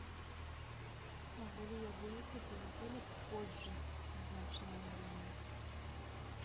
могу ли я выехать из отеля позже назначенного времени